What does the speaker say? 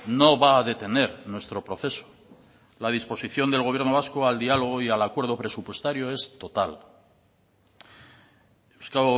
no va a detener nuestro proceso la disposición del gobierno vasco al diálogo y al acuerdo presupuestario es total eusko